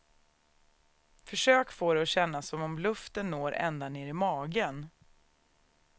Försök få det att kännas som om luften når ända ner i magen.